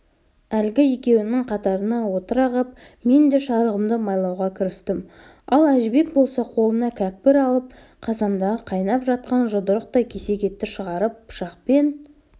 әлгі екеуінің қатарына отыра қап мен де шарығымды майлауға кірістім ал әжібек болса қолына кәкпір алып қазандағы қайнап жатқан жұдырықтай кесек етті шығарып пышақпен